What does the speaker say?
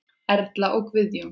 Erla og Guðjón.